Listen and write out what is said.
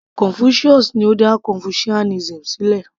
Confucius ni ó dá confucianism sílẹ̀